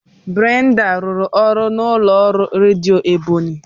Brenda rụrụ ọrụ n'ụlọ ọrụ redio Ebonyi